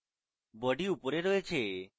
body উপরে রয়েছে